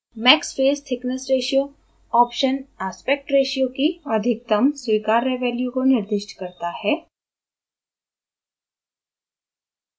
maxfacethicknessratio option aspect ratio की अधिकतम स्वीकार्य value को निर्दिष्ट करता है